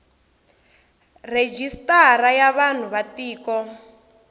rejistara ya vanhu va tiko